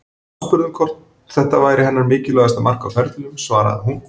Aðspurð um hvort þetta væri hennar mikilvægasta mark á ferlinum svaraði hún: